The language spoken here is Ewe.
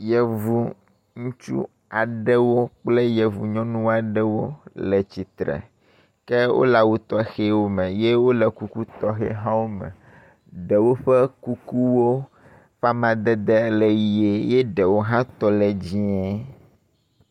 yevu ŋutsu aɖewo kple yevu nyɔnu aɖewo le tsitre ke wóle awu tɔxɛwo me ye wóle kuku tɔxɛhãwo me ɖewo ƒe kuku ƒe amadede le yie ye ɖewo hã tɔ le dzĩe